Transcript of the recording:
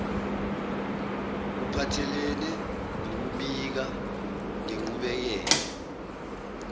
kuphathelene nokubika ngenqubekela